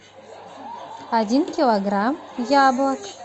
один килограмм яблок